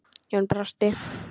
Jón brosti.